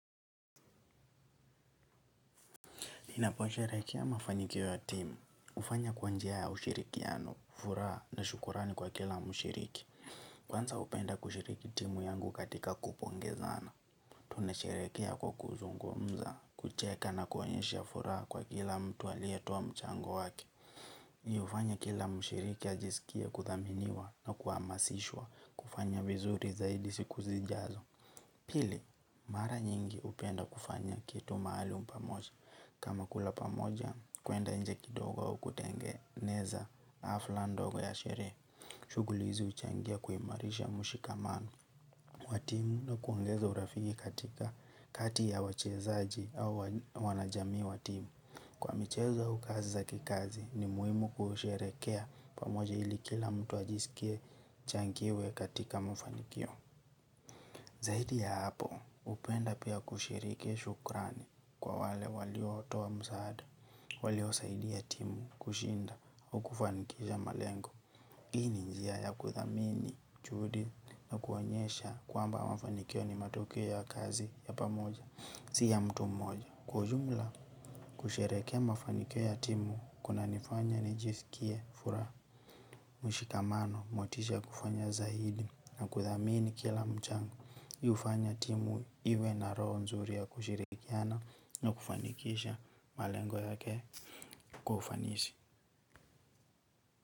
Ninapo sheherekea mafanikio ya timu, hufanya kwa njia ya ushirikiano, furaa na shukurani kwa kila mushiriki. Kwanza hupenda kushiriki timu yangu katika kupongezana. Tunasheherekea kwa kuzungumza, kucheka na kuonyesha furaa kwa kila mtu aliyetoa mchango wake. Mi hufanya kila mshiriki ajisikie kudhaminiwa na kuhamasishwa kufanya vizuri zaidi siku zijazo. Pili, mara nyingi hupenda kufanya kitu maalum pamoja. Kama kula pamoja, kuenda nje kidogo au kutengeneza hafla ndogo ya shere. Shughuli hizi huchangia kuimarisha mshikamano. Watimu na kuongeza urafiki katika kati ya wachezaji au wanajamii watimu. Kwa michezo au kazi za kikazi, ni muhimu kusheherekea pamoja ili kila mtu ajisikie changiwe katika mafanikio. Zaidi ya hapo hupenda pia kushiriki shukrani kwa wale walio toa msaada, walio saidi ya timu, kushinda, ukufanikisha malengo. Hii ni njia ya kuthamini, juhudi na kuonyesha kwamba mafanikio ni matoke ya kazi ya pamoja, si ya mtu moja. Kwa ujumla, kusherehekea mafanikio ya timu, kuna nifanya ni jisikie, fura, mshikamano, motisha kufanya zaidi na kudhamini kila mchango. Hi hufanya timu iwe na roho nzuri ya kushirikiana na kufanikisha malengo yake kwa ufanisi.